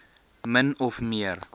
min of meer